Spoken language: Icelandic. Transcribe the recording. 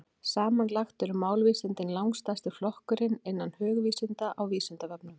Samanlagt eru málvísindin langstærsti flokkurinn innan hugvísinda á Vísindavefnum.